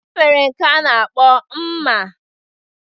E nwere nke a na-akpọ mma.